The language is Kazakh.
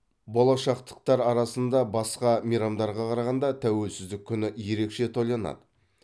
болашақтықтар арасында басқа мейрамдарға қарағанда тәуелсіздік күні ерекше тойланады